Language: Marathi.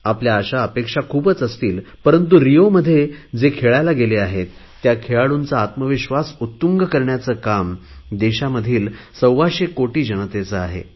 आपल्या आशा अपेक्षा खूपच असतील पंरतु रिओमध्ये जे खेळायला गेले आहेत त्या खेळाडूंचा आत्मविश्वास उत्तुंग करण्याचे काम देशामधील सव्वाशे कोटी जनतेचे आहे